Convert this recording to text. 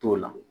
T'o la